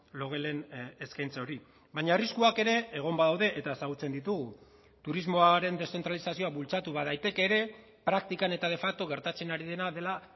logelen eskaintza hori baina arriskuak ere egon badaude eta ezagutzen ditugu turismoaren deszentralizazioa bultzatu badaiteke ere praktikan eta de facto gertatzen ari dena dela